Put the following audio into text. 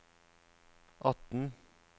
atten